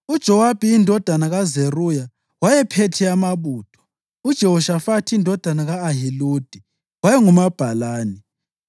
UJowabi indodana kaZeruya wayephethe amabutho; uJehoshafathi indodana ka-Ahiludi wayengumabhalane;